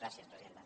gràcies presidenta